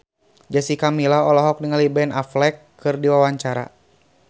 Jessica Milla olohok ningali Ben Affleck keur diwawancara